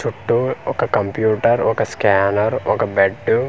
చుట్టూ ఒక కంప్యూటర్ ఒక స్కానర్ ఒక బెడ్డు .